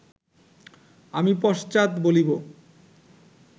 আমি পশ্চাৎ বলিব